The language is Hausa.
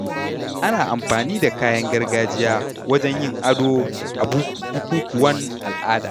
Ana amfani da kayan gargajiya wajen yin ado a bukukuwan al’ada.